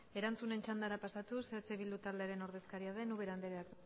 erantzunen txandara pasatuz eh bildu taldearen ordezkaria den ubera andreak